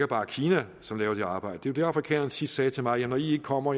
bare er kina som laver det arbejde jo det afrikanerne sidst sagde til mig ja når i ikke kommer